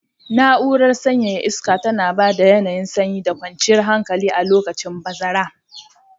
Na'urar sanyaya iska tana ba da yanayin sanyi da kwanciyar hankali a lokacin bazara.